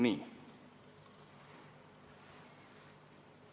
Nii.